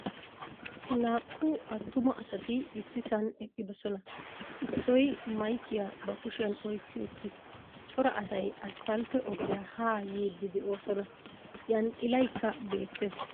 Naa"u attuma asati ississan eqqidosona. Issoy maykkiya ba kushiyan oykki uttiis. Cora asay asppaltte ogiya ha yiidi de'oosona. Xanxxillaykka bettees.